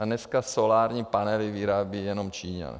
A dneska solární panely vyrábějí jenom Číňani.